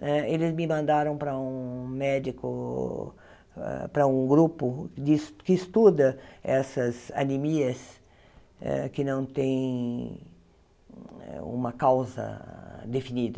eh eles me mandaram para um médico, ah para um grupo de que estuda essas anemias eh que não têm uma causa definida.